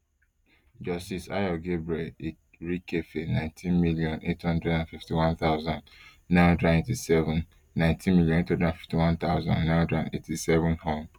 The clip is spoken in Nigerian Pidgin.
justice ayo gabriel lrikefe nineteen million, eight hundred and fifty-one thousand, nine hundred and eighty-seven nineteen million, eight hundred and fifty-one thousand, nine hundred and eighty-seven hon